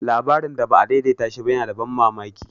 Labarin da ba a daidaita shi ba yana da ban mamaki.